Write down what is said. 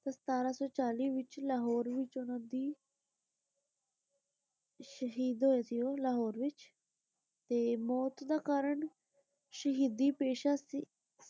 ਸਤਾਰਾਂ ਸੌ ਚਾਲੀ ਵਿਚ ਲਾਹੌਰ ਵਿਚ ਉਨ੍ਹਾਂ ਦੀ ਸ਼ਹੀਦ ਹੋਏ ਸੀ ਉਹ ਲਾਹੌਰ ਵਿਚ ਤੇ ਮੌਤ ਦਾ ਕਾਰਣ ਸ਼ਹੀਦੀ ਪੇਸ਼ਾ ਸੀ।